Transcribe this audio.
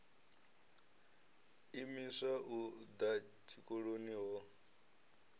imiswa u ḓa tshikoloni ho